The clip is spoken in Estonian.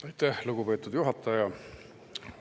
Aitäh, lugupeetud juhataja!